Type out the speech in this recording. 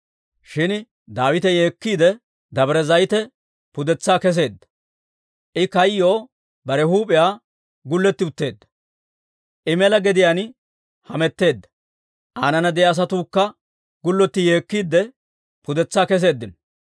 Shin Daawite yeekkiide Dabire Zayite pudetsaa kesseedda. I kayyoo bare huup'iyaa gullotti utteedda; I mela gediyaan hametteedda; aanana de'iyaa asatuukka gullotti yeekkiide pudetsaa keseeddino.